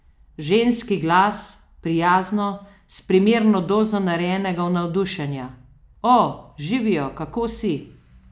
Ženski glas, prijazno, s primerno dozo narejenega navdušenja: "O, živijo, kako si?